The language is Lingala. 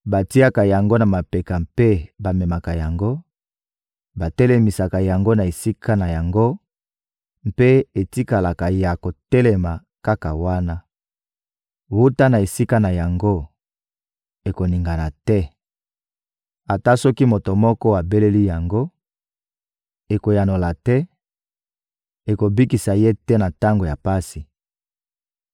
Batiaka yango na mapeka mpe bamemaka yango, batelemisaka yango na esika na yango mpe etikalaka ya kotelema kaka wana. Wuta na esika na yango, ekoningana te. Ata soki moto moko abeleli yango, ekoyanola te, ekobikisa ye te na tango ya pasi.